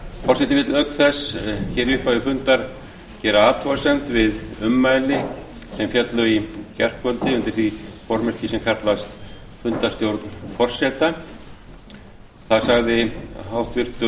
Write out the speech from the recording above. forseti vill auk þess í upphafi fundar gera athugasemd við ummæli sem féllu í gærkvöldi undir því formerki sem kallast fundarstjórn forseta þar sagði háttvirtur